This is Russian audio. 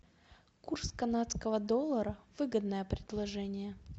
курс канадского доллара выгодное предложение